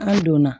An donna